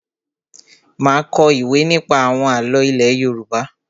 Má a kọ ìwé nípa àwọn àlọ́ ilé Yorùbá.